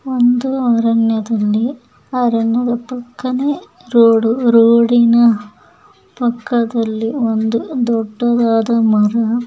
ಒಂದು ಅರಣ್ಯದಲ್ಲಿ ಅರಣ್ಯದ ಪಕ್ಕನೇ ರೋಡು ರೋಡಿನ ಪಕ್ಕದ್ಲಲಿ ಒಂದು ದೊಡ್ಡದಾದ ಮರ.--